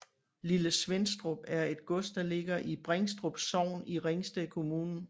Lille Svenstrup er et gods der ligger i Bringstrup Sogn i Ringsted Kommune